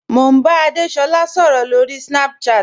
Mo n bá Adésolá sọ̀rọ̀ lórí Snapchat.